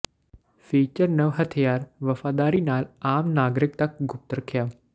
feature ਨਵ ਹਥਿਆਰ ਵਫ਼ਾਦਾਰੀ ਨਾਲ ਆਮ ਨਾਗਰਿਕ ਤੱਕ ਗੁਪਤ ਰੱਖਿਆ